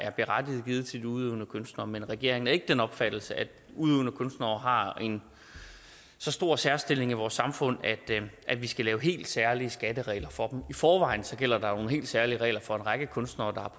berettiget givet til de udøvende kunstnere men regeringen er ikke af den opfattelse at udøvende kunstnere har en så stor særstilling i vores samfund at vi skal lave helt særlige skatteregler for dem i forvejen gælder der jo nogle helt særlige regler for en række kunstnere